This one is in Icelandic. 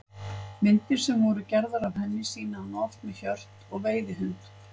Myndir sem voru gerðar af henni sýna hana oft með hjört og veiðihund.